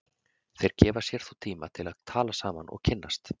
Þeir gefa sér þó tíma til að tala saman og kynnast.